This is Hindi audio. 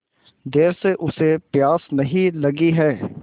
देर से उसे प्यास नहीं लगी हैं